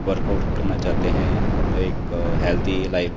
workout करना चाहते हैं एक हेल्थी लाइफ --